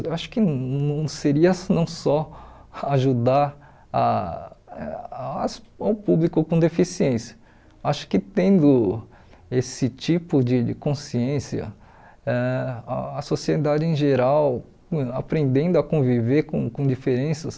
Eu acho que não seria não só ajudar ah as o público com deficiência, acho que tendo esse tipo de de consciência, ãh a sociedade em geral aprendendo a conviver com com diferenças,